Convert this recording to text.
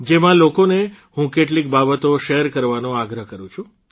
જેમાં લોકોને હું કેટલીક બાબતો શેર કરવાનો આગ્રહ કરૂં છું